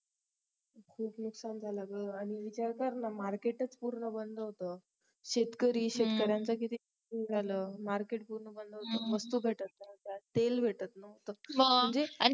खूप नुकसान झालं ग आणि विचार कर ना market च पूर्ण बंद होत शेतकरीच शेतकऱ्यांचं किती नुकसान झालं market पूर्ण बंद होत वस्तू भेटत नव्हत्या तेल भेटत नव्हतं म्हणजे